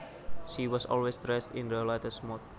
She was always dressed in the latest mode